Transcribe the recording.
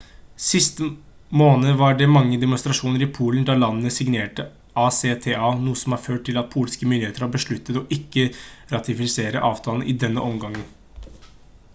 sist måned var det mange demonstrasjoner i polen da landet signerte acta noe som har ført til at polske myndigheter har besluttet å ikke ratifisere avtalen i denne omgang